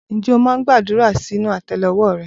Ǹjẹ́ o máa ń gbàdúrà sínú àtẹ́lẹwọ́ rẹ?